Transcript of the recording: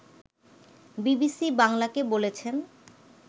BBC বাংলাকে বলেছেন